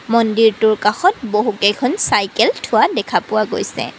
মন্দিৰটোৰ কাষত বহু কেইখন চাইকেল থোৱা দেখা পোৱা গৈছে।